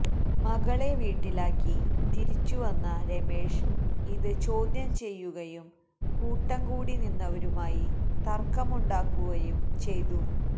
മകളെ വീട്ടിലാക്കി തിരിച്ചുവന്ന രമേഷ് ഇത് ചോദ്യം ചെയ്യുകയും കൂട്ടംകൂടി നിന്നവരുമായി തര്ക്കമുണ്ടാവുകയും ചെയ്തു